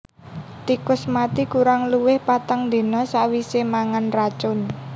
Tikus mati kurang luwih patang dina sawisé mangan racun